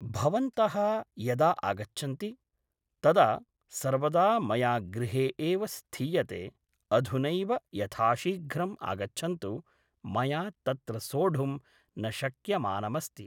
भवन्तः यदा अगच्छन्ति तदा सर्वदा मया गृहे एव स्थीयते अधुनैव यथाशीघ्रम् आगच्छन्तु मया तत्र सोढुं न शक्यमानमस्ति